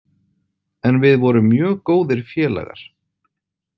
En við vorum mjög góðir félagar.